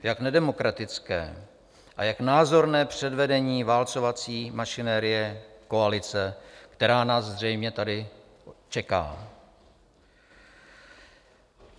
Jak nedemokratické a jak názorné předvedení válcovací mašinérie koalice, která nás zřejmě tady čeká.